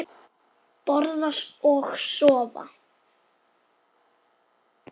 Borða og sofa.